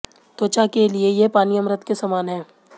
त्वचा के लिए ये पानी अमृत के समान है